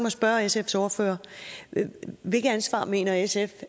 at spørge sfs ordfører hvilket ansvar mener sf